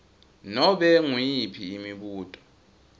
nobe nguyiphi imibuto